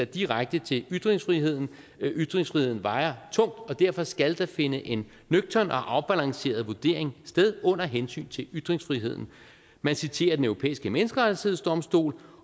direkte til ytringsfriheden ytringsfriheden vejer tungt og derfor skal der finde en nøgtern og afbalanceret vurdering sted under hensyn til ytringsfriheden man citerer den europæiske menneskerettighedsdomstol